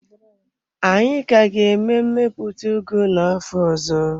Anyị ka ga-eme mmepụta ugu n'afọ ọzọ.